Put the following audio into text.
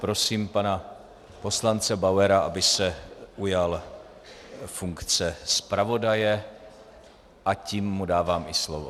Prosím pana poslance Bauera, aby se ujal funkce zpravodaje, a tím mu dávám i slovo.